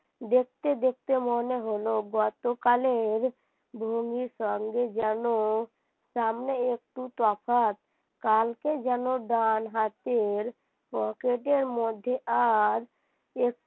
দেখতে দেখতে মনে হলো গতকালের ধনী সঙ্গে যেন সামনে একটু তফাৎ কালকে যেন ডান হাতের পকেটের মধ্যে আর এক